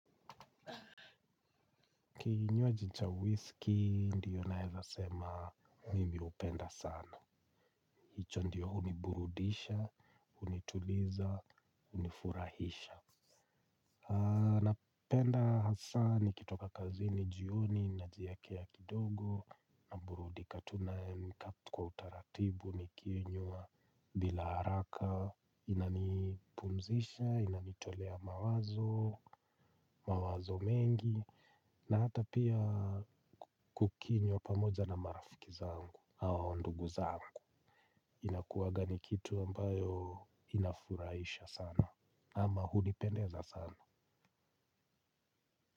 Kinywaji cha whisky ndiyo naeza sema mimi hupenda sana. Hicho ndiyo huniburudisha, hunituliza, hunifurahisha. Napenda hasa nikitoka kazini jioni najiekea kidogo naburudika tu naamka kwa utaratibu nikinywa bila haraka inanipumzisha, inanitolea mawazo, mawazo mengi. Na hata pia kukinywa pamoja na marafiki zangu au ndugu zangu. Inakuwaga ni kitu ambayo inafuraisha sana. Ama hulipendeza sana.